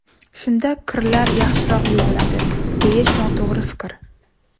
Shunda kirlar yaxshiroq yuviladi, deyish noto‘g‘ri fikr.